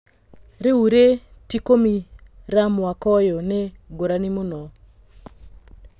"Rĩ u rĩ tikumĩ ra mwaka ũyũ" nĩ ngũrani mũno.